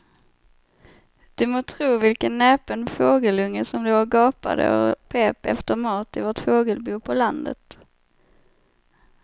Du må tro vilken näpen fågelunge som låg och gapade och pep efter mat i vårt fågelbo på landet.